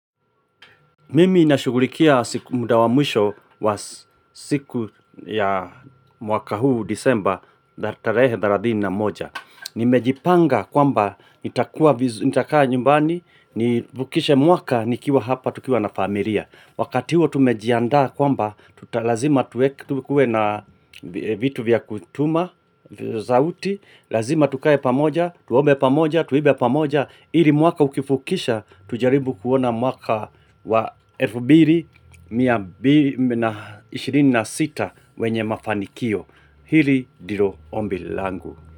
Mimi nashugulikia siku muda wa mwisho wa siku ya mwaka huu disemba, tarehe thelathini na moja. Nimejipanga kwamba nitakaa nyumbani, nivukishe mwaka, nikiwa hapa, tukiwa na familia. Wakati huo tumejiandaa kwamba, lazima tuwe na vitu vya kutuma, zauti, lazima tukae pamoja, tuombe pamoja, tuimbe pamoja, ili mwaka ukivukisha tujaribu kuona mwaka wa 2026 wenye mafanikio. Hili ndilo ombi langu.